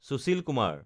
Sushil Kumar